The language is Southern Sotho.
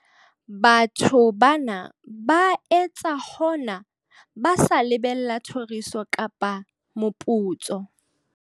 Batho bana ba etsa hona ba sa lebella thoriso kapa moputso.